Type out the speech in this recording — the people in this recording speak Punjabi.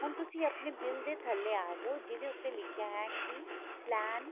ਹੁਣ ਤੁਸੀਂ ਆਪਣੇ bill ਦੇ ਥੱਲੇ ਆ ਜੋ ਜਿਹਦੇ ਉੱਤੇ ਲਿਖਿਆ ਹੈ ਕੀ plan